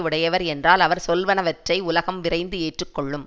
உடையவர் என்றால் அவர் சொல்வனவற்றை உலகம் விரைந்து ஏற்று கொள்ளும்